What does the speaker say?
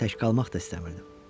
Tək qalmaq da istəmirdim.